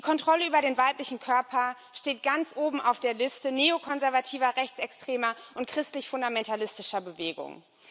Die Kontrolle über den weiblichen Körper steht ganz oben auf der Liste neokonservativer, rechtsextremer und christlich fundamentalistischer Bewegungen.